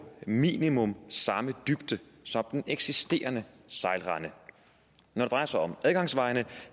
minimum samme dybde som den eksisterende sejlrende når det drejer sig om adgangsvejene